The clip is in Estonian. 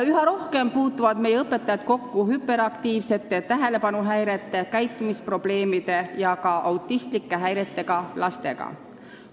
Üha rohkem puutuvad meie õpetajad kokku hüperaktiivsete lastega ning tähelepanuhäirete, käitumisprobleemide ja ka autistlike häiretega lastega.